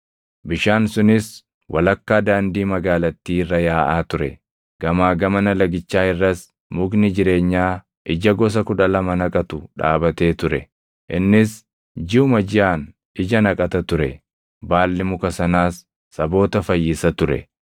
bishaan sunis walakkaa daandii magaalattii irra yaaʼaa ture. Gamaa gamana lagichaa irras mukni jireenyaa ija gosa kudha lama naqatu dhaabatee ture; innis jiʼuma jiʼaan ija naqata ture. Baalli muka sanaas saboota fayyisa ture.